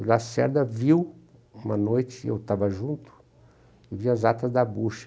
O Lacerda viu uma noite, eu estava junto, e viu as atas da bocha.